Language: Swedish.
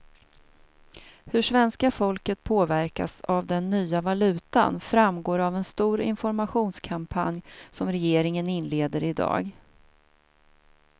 Hur svenska folket påverkas av den nya valutan framgår av en stor informationskampanj som regeringen inleder i dag.